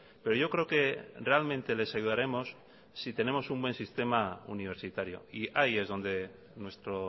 pero yo creo que realmente les ayudaremos si tenemos un buen sistema universitario y ahí es donde nuestro